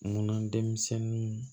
Munna denmisɛnninw